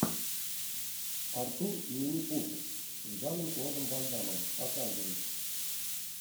артур и минипуты с жаном клодом ван даммом показывай